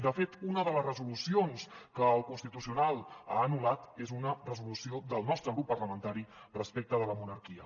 de fet una de les resolucions que el constitucional ha anul·lat és una resolució del nostre grup parlamentari respecte de la monarquia